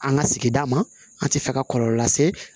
An ka sigida ma an tɛ fɛ ka kɔlɔlɔ lase